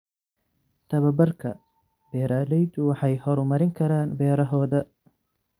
Tababarka, beeralaydu waxay horumarin karaan beerahooda.